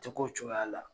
Tɛ ko cogoya la